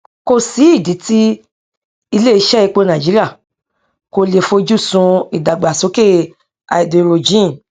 kòsí ìdí tí ilé iṣé epo nàìjíríà kò le foju sun ìdàgbàsókè háídírójìn